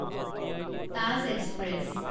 Taj express